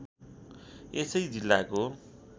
यसै जिल्लाको